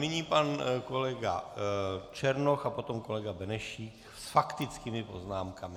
Nyní pan kolega Černoch a potom kolega Benešík s faktickými poznámkami.